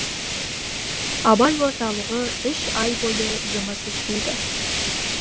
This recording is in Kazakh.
абай орталығы үш ай бойы жұмыс істейді